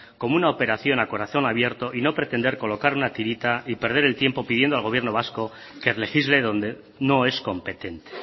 como una operación a corazón abierto y no pretender colocar una tirita y perder el tiempo pidiendo al gobierno vasco que legisle donde no es competente